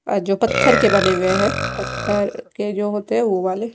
अह जो पत्थर के बने हुए हैं पत्थर के जो होते हैं वो वाले।